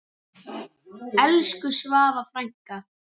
Elsku Svava frænka.